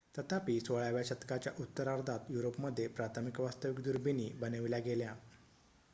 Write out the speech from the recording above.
तथापि 16 व्या शतकाच्या उत्तरार्धात युरोपमध्ये प्रथम वास्तविक दुर्बिणी बनविल्या गेल्या